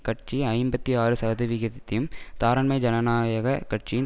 கட்சி ஐம்பத்தி ஆறு சதவிகிதத்தையும் தாராண்மை ஜனநாயக கட்சியின்